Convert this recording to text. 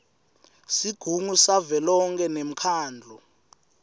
sigungu savelonkhe nemkhandlu